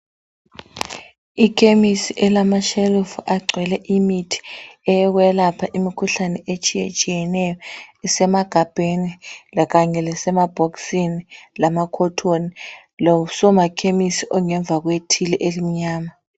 Ikhemisi elamashelufu agcwele imithi eyokwelapha imikhuhlane etshiyetshiyeneyo, isemagabheni lakanye lasemabhokisini lamakhothoni losomakhemisi ongemva kwethili elimnyama.